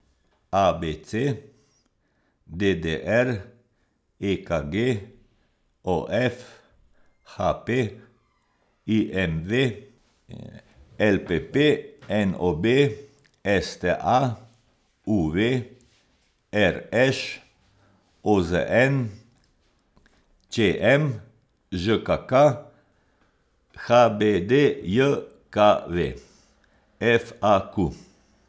A B C; D D R; E K G; O F; H P; I M V; L P P; N O B; S T A; U V; R Š; O Z N; Č M; Ž K K; H B D J K V; F A Q.